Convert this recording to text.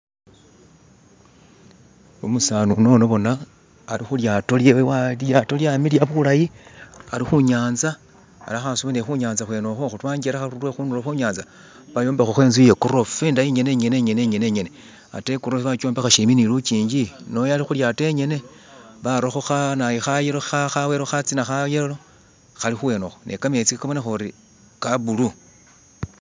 Umusani unono bona alikhulyato lyewe lilyato lyamiliya bulayi alikhunyatsa alikho asuba ne khunyatsa khweno khokho kwangelekha lwekhudulo bayombekhkho intsu yagorofa indayi inyene inyene inyene inyene atee igorofa bajombakha shimpi ni lujinji noyo alikhulyato enyene barakho khanayu khayelo khawelo khatsina khayelo khali khuwenokho ne khametsi khabonekhori khabulu